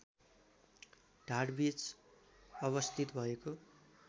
ढाडबीच अवस्थित भएको